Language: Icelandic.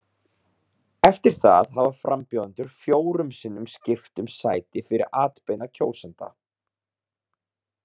Eftir það hafa frambjóðendur fjórum sinnum skipt um sæti fyrir atbeina kjósenda.